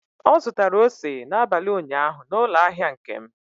Ọ zụtara ose n'abalị ụnyaahụ n'ụlọ ahịa Nkem.